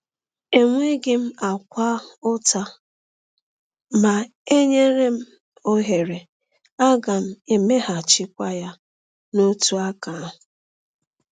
Enweghị m akwa ụta; ma e nyere m ohere, aga m e meeghachikwa ya n’otu aka ahụ.